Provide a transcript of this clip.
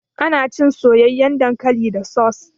Ana cin soyayyan dankali da saus.